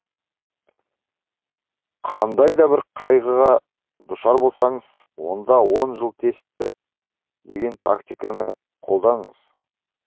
қандай да бір қайғыға душар болсаңыз онда он жыл тесті деген тактиканы қолданыңыз